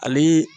Ale